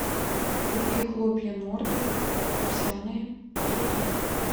купи хлопья нордик овсяные пятьсот грамм